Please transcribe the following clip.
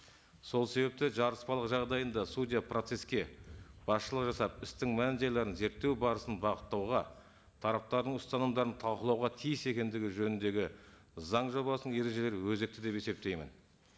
сол себепті жарыспалық жағдайында судья процесске басшылық жасап істің мән жайларын зерттеу барысын бағыттауға тараптардың ұстанымдарын талқылауға тиіс екендігі жөніндегі заң жобасының ережелері өзекті деп есептеймін